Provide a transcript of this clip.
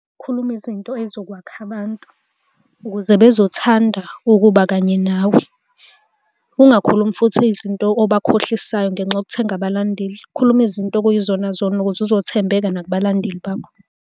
Ukukhuluma izinto ey'zokwakha abantu ukuze bezothanda ukuba kanye nawe. Ungakhulumi futhi izinto obakhohlisayo ngenxa yokuthenga abalandeli. Ukhulume izinto okuyizona zona ukuze uzothembeka nakubalandeli bakho.